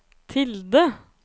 tilde